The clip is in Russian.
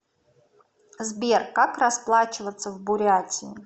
сбер как расплачиваться в бурятии